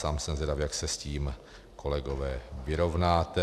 Sám jsem zvědav, jak se s tím, kolegové, vyrovnáte.